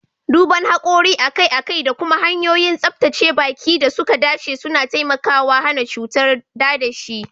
Duban hakori akai-akai da kuma hanyoyin tsabtace baki da suka dace suna taimakawa hana cutar dadashi.